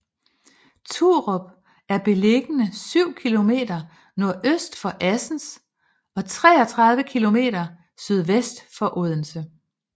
Turup er beliggende syv kilometer nordøst for Assens og 33 kilometer sydvest for Odense